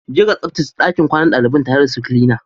Je ka tsabtace ɗakin kwanan daliban tare da su kilina